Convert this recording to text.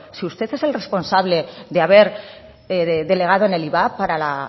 si usted es el responsable de haber delegado en el ivap para la